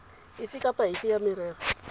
efe kapa efe ya merero